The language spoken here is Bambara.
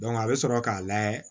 a bɛ sɔrɔ k'a layɛ